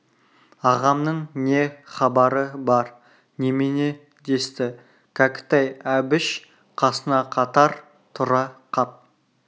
ағамның не хабары бар немене десті кәкітай әбіш қасына қатар тұра қап